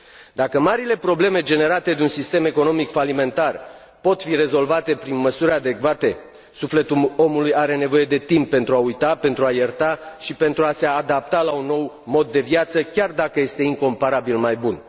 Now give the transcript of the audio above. Dacă marile probleme generate de un sistem economic falimentar pot fi rezolvate prin măsuri adecvate, sufletul omului are nevoie de timp pentru a uita, pentru a ierta și pentru a se adapta la un nou mod de viață, chiar dacă este incomparabil mai bun.